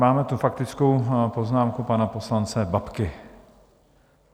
Máme tu faktickou poznámku pana poslance Babky.